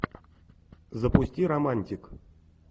запусти романтик